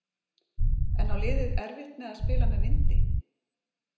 En á liðið erfitt með að spila með vindi?